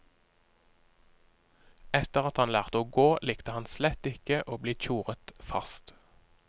Etter at han lærte å gå, likte han slett ikke å bli tjoret fast.